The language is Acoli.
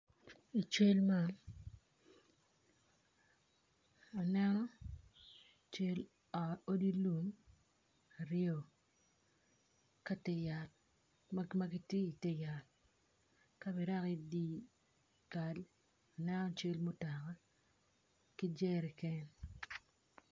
I cal man aneno cal ot lum aryo ma gitye i te yat ka bedoki i dye kal aneno cal mutoka ki jerican.